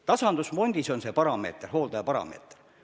Tasandusfondis kehtib see hooldajaparameeter.